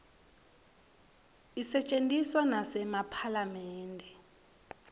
isetjentiswa nasephalamende